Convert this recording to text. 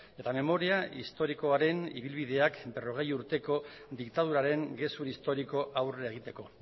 eta memoria historikoaren ibilbideak berrogei urteko diktaduraren gezur historikoa aurrera egiteko